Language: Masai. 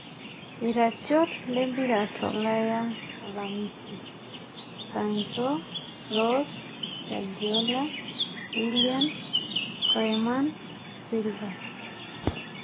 Iratiot lempira tolaya alamisi: Sancho, Rose, Guardiola, Willian, koeman, Silva